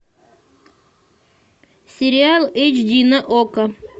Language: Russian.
сериал эйч ди на окко